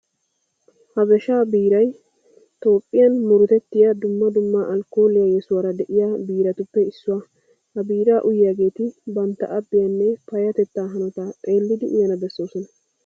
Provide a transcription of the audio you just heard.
Habeshaa biiray toophphiyan murutettiya dumma dumma alkkooliya yesuwara de'iya biiratuppe issuwa. Ha biiraa uyiyageeti bantta abbiyanne payyatettaa hanotaa xeellidi uyana bessoosona.